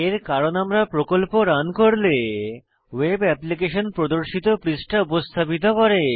এর কারণ আমরা প্রকল্প রান করলে ওয়েব অ্যাপ্লিকেশন প্রদর্শিত পৃষ্ঠা উপস্থাপিত করে